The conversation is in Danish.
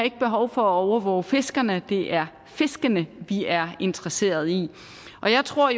behov for at overvåge fiskerne det er fiskene vi er interesseret i og jeg tror